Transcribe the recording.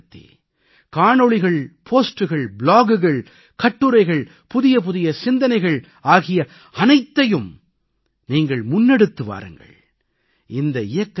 தொழில்நுட்பத்தைப் பயன்படுத்தி காணொளிகள் போஸ்ட்கள் பிளாகுகள் கட்டுரைகள் புதிய புதிய சிந்தனைகள் ஆகிய அனைத்தையும் நீங்கள் முன்னெடுத்து வாருங்கள்